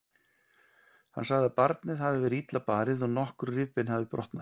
Hann sagði að barnið hafi verið illa barið og nokkur rifbein hafi brotnað.